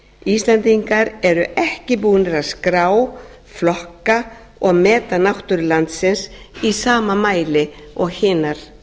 íslendingar eru ekki búnir að skrá flokka og meta náttúru landsins í sama mæli og hinar þjóðirnar